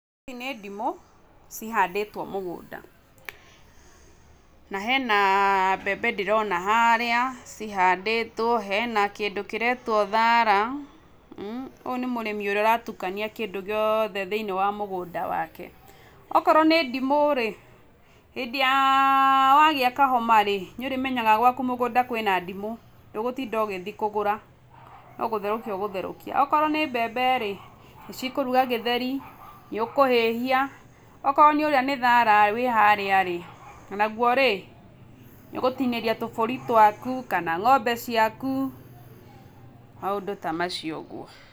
Ici nĩ ndĩmu cihandĩtwo mũgũnda. Na hena mbembe ndĩrona harĩa cihandĩtwo, hena kĩndũ kĩretwo thaara. Ũyũ nĩ mũrĩmi ũrĩa ũratukania kĩndũ gĩothe thĩiniĩ wa mũgũnda wake. Okorwo nĩ ndimũ-rĩ, hĩndĩ ya wagĩa kahoma-rĩ, nĩũrĩmenyaga gwaku mũgũnda kwĩna ndimũ, ndũgũtinda ũgĩthiĩ kũgũra, no gũtherũkia ũgũtherũkia. Okorwo nĩ mbembe-rĩ, nĩcikũruga gĩtheri, nĩũkũhĩhia, okorwo ũrĩa nĩ thaara wĩ harĩa-rĩ onaguo-rĩ, nĩũgũtinĩria tũbũri twaku, kana ng'ombe ciaku, maũndũ ta macio ũguo.